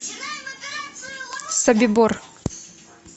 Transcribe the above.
собибор